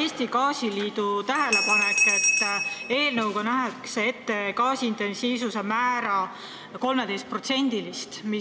Eesti Gaasiliidu tähelepanek, et eelnõuga nähakse ette gaasitarbimise intensiivsuse määr 13%.